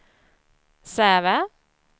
Säve